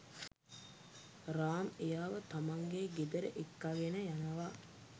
රාම් එයාව තමන්ගේ ගෙදර එක්කගෙන යනවා